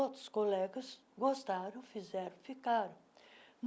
Outros colegas gostaram, fizeram, ficaram.